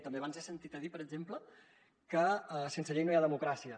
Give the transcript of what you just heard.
també abans he sentit a dir per exemple que sense llei no hi ha democràcia